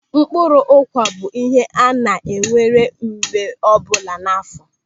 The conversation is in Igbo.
Mkpụrụ akwụ bụ ihe a na-ewere mgbe ọbụla n'áfọ.